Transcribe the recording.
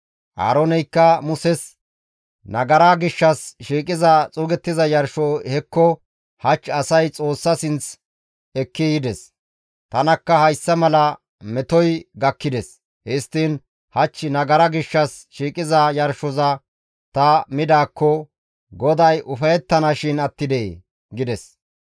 Aarooneykka Muses, «Nagara gishshas shiiqiza xuugettiza yarsho hekko hach asay Xoossa sinth ekki yides; tanakka hayssa mala metoy gakkides; histtiin hach nagara gishshas shiiqiza yarshoza ta midaakko GODAY ufayettanashin attidee?» gides;